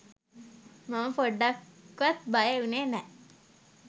මම පොඩ්ඩක්වත් බය වුනේ නෑ.